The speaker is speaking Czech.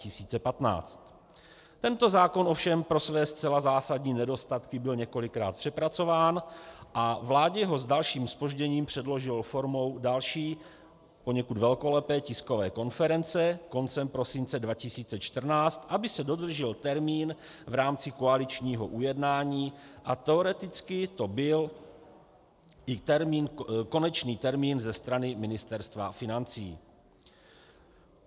Tento zákon ovšem pro své zcela zásadní nedostatky byl několikrát přepracován a vládě ho s dalším zpožděním předložil formou další, poněkud velkolepé tiskové konference koncem prosince 2014, aby se dodržel termín v rámci koaličního ujednání, a teoreticky to byl i konečný termín za strany Ministerstva financí.